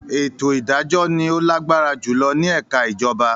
“Ètò ìdájọ́” ni ó lágbára jùlọ nínú ẹka ìjọba.